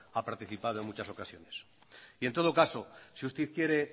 ha participado en muchas ocasiones y en todo caso si usted quiere